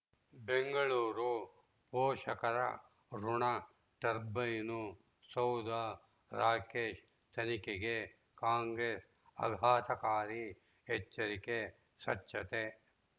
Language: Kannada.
ಬೆಂಗಳೂರು ಪೋಷಕರಋಣ ಟರ್ಬೈನು ಸೌಧ ರಾಕೇಶ್ ತನಿಖೆಗೆ ಕಾಂಗ್ರೆಸ್ ಆಘಾತಕಾರಿ ಎಚ್ಚರಿಕೆ ಸ್ವಚ್ಛತೆ